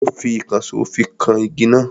Ó fi ìkànsó fi kan igi náà.